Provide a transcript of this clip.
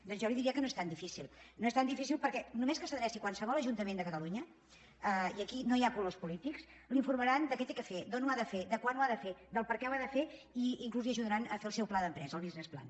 doncs jo li diria que no és tan difícil no és tan difícil perquè només que s’adreci a qualsevol ajuntament de catalunya i aquí no hi ha colors polítics l’informaran de què ha de fer d’on ho ha de fer de quan ho ha de fer del perquè ho ha de fer i inclús l’ajudaran a fer el seu pla d’empresa el business plan